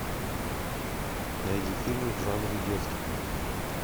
найди фильмы в жанре детский